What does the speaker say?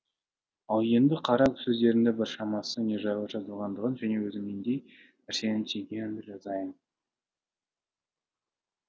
ал енді қара сөздерінің біршамасы не жайлы жазылғандығын және өзім нендей нәрсені түйгенімді жазайын